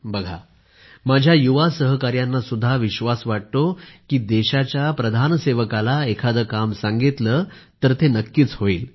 बघा माझ्या युवा सहकाऱ्यांना सुद्धा विश्वास वाटतो की देशाच्या प्रधान सेवकाला एखादे काम सांगितले तर ते नक्कीच होईल